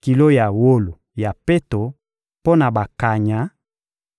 kilo ya wolo ya peto mpo na bakanya,